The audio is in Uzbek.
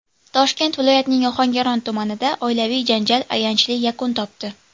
Toshkent viloyatining Ohangaron tumanida oilaviy janjal ayanchli yakun topdi.